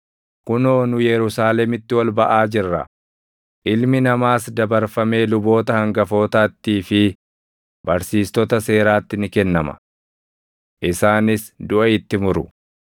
“Kunoo nu Yerusaalemitti ol baʼaa jirra; Ilmi Namaas dabarfamee luboota hangafootattii fi barsiistota seeraatti ni kennama. Isaanis duʼa itti muru;